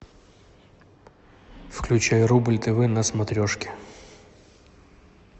включай рубль тв на смотрешке